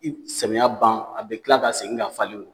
I bi samiya ban a bi kila ka segin ka falen